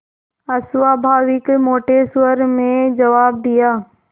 अस्वाभाविक मोटे स्वर में जवाब दिया